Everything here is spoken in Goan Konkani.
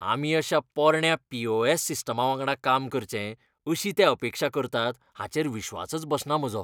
आमी अशा पोरण्या पी. ओ. एस. सिस्टमावांगडा काम करचें अशी ते अपेक्षा करतात हाचेर विस्वासच बसना म्हजो.